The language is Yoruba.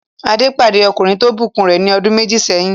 Adé pàdé ọkùnrin tó ìbùkún rẹ̀ ní ọdún méjì sẹ́yìn.